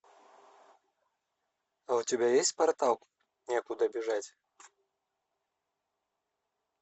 у тебя есть портал некуда бежать